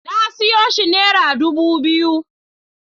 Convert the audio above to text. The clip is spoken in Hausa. Na siyo shi nera dubu biyu